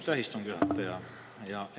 Aitäh, istungi juhataja!